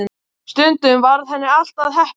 Stundum varð henni allt að heppni.